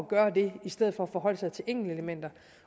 gøre det i stedet for at forholde sig til enkeltelementer